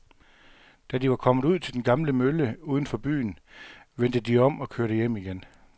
Da de var kommet ud til den gamle mølle uden for byen, vendte de om og kørte hjem igen.